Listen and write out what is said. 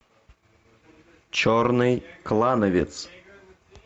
черный клановец